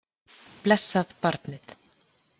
Blessað barnið.